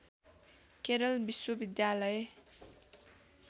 केरल विश्वविद्यालय